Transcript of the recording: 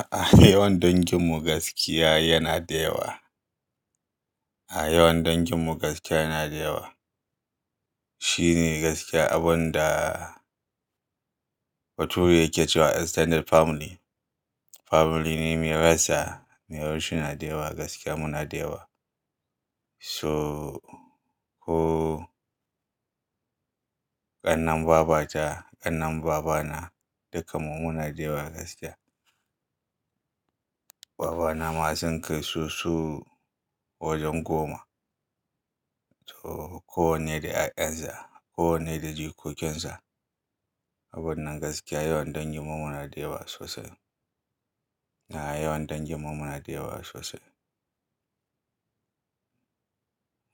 A'a, yawan danginmu gaskiya yana da yawa. A'a, yawan danginmu gaskiya yana da yawa. Shi ne gaskiya abun da bature yake cewa extended family. Family ne mai rassa, mai rashin adewa gaskiya muna da yawa. So ko ƙannan babata, ƙannan babana dukkanmu muna da yawa gaskiya. Babana ma sun kai susu wajen goma. To kowanne da ƴan sa, kowanne da jikokinsa. Abun nan gaskiya yawan danginmu muna da yawa sosai. A'a, yawan danginmu muna da yawa sosai.